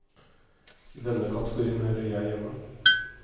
I denne kategorien hører jeg hjemme.